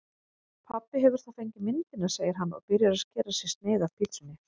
Pabbi hefur þá fengið myndina, segir hann og byrjar að skera sér sneið af pitsunni.